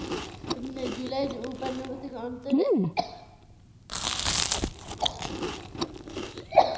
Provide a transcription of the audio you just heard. উপানিবেশিক